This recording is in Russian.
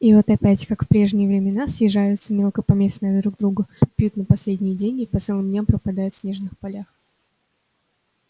и вот опять как в прежние времена съезжаются мелкопоместные друг к другу пьют на последние деньги по целым дням пропадают в снежных полях